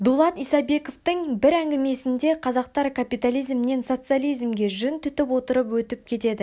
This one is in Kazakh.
дулат исабековтің бір әңгімесінде қазақтар капитализмнен социализмге жүн түтіп отырып өтіп кетеді